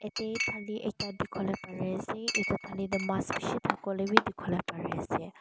dae thali ekta dikipolae pari asae etu thali toh mas bishi takibolae bi dikipo pari asae.